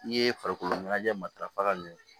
I ye farikolo ɲɛnajɛ matarafa ka ɲɛ